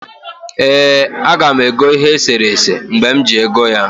ee, aga m ego ihe eserese mgbe m ji ego ya